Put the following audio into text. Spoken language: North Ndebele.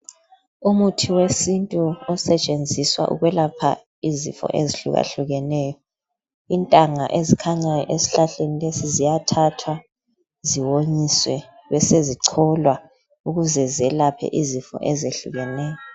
Umuthi wesintu osetshenziswa ukwelapha izifo ezihlukahlukeneyo. Intanga ekhanya esihlahleni lesi ziyathathwa ziwonyiswe besezicholwa ukuze zelaphe izifo ezehlukeyo.